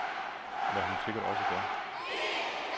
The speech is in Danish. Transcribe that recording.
Hvad hun sikkert også gør.